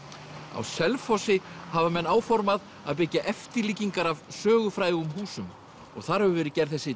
á Selfossi hafa menn áformað að byggja eftirlíkingar af sögufrægum húsum og þar hefur verið gerð þessi